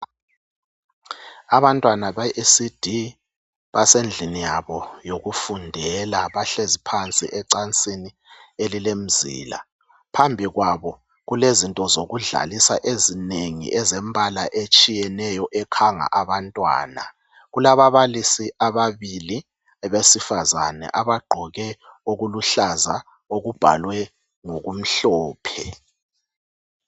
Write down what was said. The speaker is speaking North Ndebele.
Abantwana beECD basendlini yabo yokufundela. Bahlezi phansi ecansini elilemizila. Phambi kwabo kulezinto ezokudlalisa ezinengi ezembala etshiyeneyo ekhanga abantwana. Kulababalisa ababili abesifazana abagqoke okuluhlaza okubhalwe ngokumhlophe